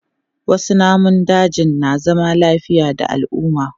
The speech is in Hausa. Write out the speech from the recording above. Wasu namun dajin na zama lafiya da al'umma.